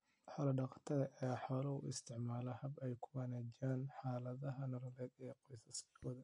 Xoolo-dhaqatada ayaa xoolaha u isticmaala hab ay ku wanaajiyaan xaaladda nololeed ee qoysaskooda.